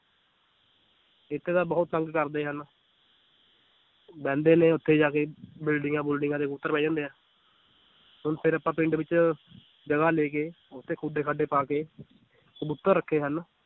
ਇੱਥੇ ਤਾਂ ਬਹੁਤ ਤੰਗ ਕਰਦੇ ਹਨ ਬਹਿੰਦੇ ਨੇ ਉੱਥੇ ਜਾ ਕੇ ਬਿਲਡਿੰਗਾਂ ਬੁਲਡਿੰਗਾਂ ਦੇ ਉੱਪਰ ਬਹਿ ਜਾਂਦੇ ਆ ਹੁਣ ਫਿਰ ਆਪਾਂ ਪਿੰਡ ਵਿੱਚ ਜਗ੍ਹਾ ਲੈ ਕੇ ਉੱਥੇ ਖੁੱਡੇ ਖਾਡੇ ਪਾ ਕੇ ਕਬੂਤਰ ਰੱਖੇ ਹਨ,